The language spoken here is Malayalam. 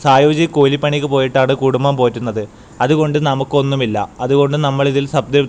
സായൂജ്യ കൂലിപ്പണിക്ക് പോയിട്ടാണ് കുടുംബം പോറ്റുന്നത് അതുകൊണ്ട് നമുക്ക് ഒന്നുമില്ല അതുകൊണ്ട് നമ്മൾ ഇതിൽ --